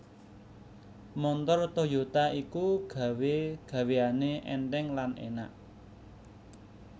Montor Toyota iku gawe gaweane enteng lan enak